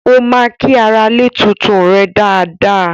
Ó ma kí aralè tuntun rè dáadáa